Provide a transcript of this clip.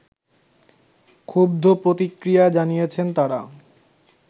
ক্ষুব্দ প্রতিক্রিয়া জানিয়েছেন তারা